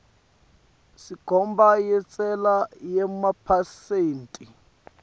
senkhomba yentsela yemaphesenthi